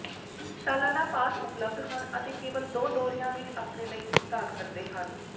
ਸਾਲਾਨਾ ਪਾਸ ਉਪਲਬਧ ਹਨ ਅਤੇ ਕੇਵਲ ਦੋ ਦੌਰਿਆਂ ਵਿੱਚ ਆਪਣੇ ਲਈ ਭੁਗਤਾਨ ਕਰਦੇ ਹਨ